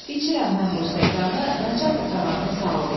İçirəm mən bu stəkanı naçalnik ağanın sağlığına.